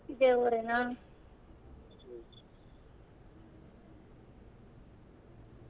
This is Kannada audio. ಇದೆ ಊರೇನಾ?